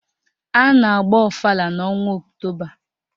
A na-agba ọfala n'ọnwa Ọktoba